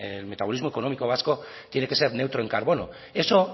el metabolismo económico vasco tiene que ser neutro en carbono eso